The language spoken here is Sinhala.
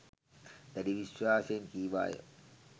දැඩි විශ්වාසයෙන් කීවාය.